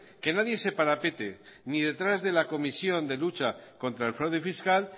que nadie se parapete ni detrás de la comisión de lucha contra el fraude fiscal